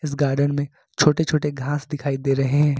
Garden में छोटे छोटे घास दिखाई दे रहे हैं।